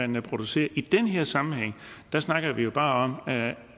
man producerer i den her sammenhæng snakker vi bare